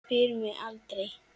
Spyr mig aldrei.